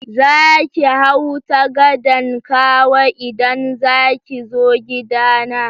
Za ki hau ta gadan Kawo idan za ki zo gidana.